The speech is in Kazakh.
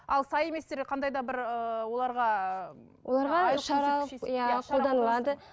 ал сай еместерге қандай да бір ііі оларға ііі